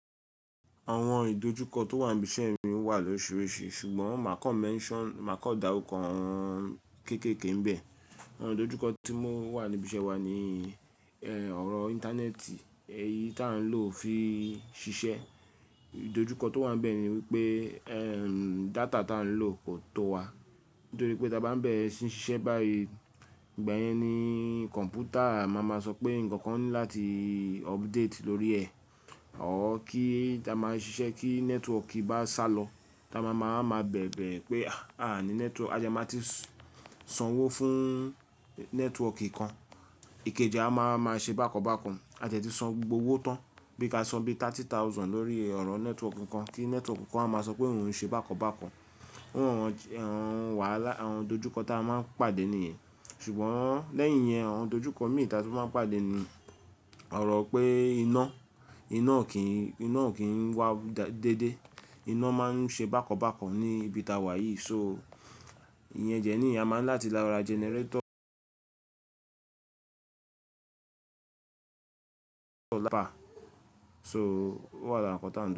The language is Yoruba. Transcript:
Àwọn ìdojúkọ tó wà níbi iṣẹ́ ni o wà lórisirisi, ṣùgbọ́n máa kan mention, máa kan dáruko awon kéékèèké níbẹ̀. Àwọn ìdojúkọ tí mo wà níbi iṣẹ́ wa ni, ẹ́, ọ̀rọ̀ Íńtánẹ́ẹ̀tì èyí tó à ń lò fi ṣiṣẹ́. Ìdojúkọ tó wà níbẹ̀ ni wípé, ẹ́, data tí à ń lò kò tó wa. Nítorí pé tí a bá ń bẹ̀rẹ̀ síí ṣiṣẹ́ báyìí, ìgbà yẹn ni kọ̀m̀pútà máa ma sọ pé nǹkan kan ní láti update lórí ẹ̀. Ọ́ kí ta máa ṣiṣẹ́ kí nẹ́tíwọ̀ọ̀kì bá sálọ, ta máa ma bẹ̀bẹ̀ pé aà ní nẹ́tíwọ̀ọ̀kì, a de máa ti san owó fún nẹ́tíwọ̀ọ̀kì kan. Ìkejì a máa ma ṣe bákan bákan. A jẹ̀ ti san gbogbo owó tán. Bí ka san bí Náírà ẹgbẹ̀rún ọgbọ̀n lórí ọ̀rọ̀ nẹ́tíwọ̀ọ̀kì kan kí nẹ́tíwọ̀ọ̀kì kan há ma sọ pé òun ń ṣe bákan bákan. Awon wahala, àwọn ìdojúkọ tí a máa ń pàdé ni yen. Ṣùgbọ́n lẹ́yìn yẹn àwọn ìdojúkọ mìíràn tí a máa ń pàdé ni ọ̀rọ̀ pé iná, iná ò kí ń wá déédé. Iná máa ń ṣe bákan bákan ní ibi tí a wà yìí. So ìyẹn dẹ ni a máa ń láti ra jẹnẹrétọ̀ lápá. So ó wà lára nǹkan tí a ń lò.